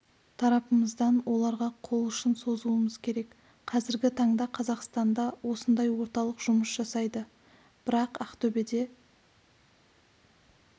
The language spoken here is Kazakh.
тарапымыздан оларға қол ұшын созуымыз керек қазіргі таңда қазақстанда осындай орталық жұмыс жасайды бірақ ақтөбеде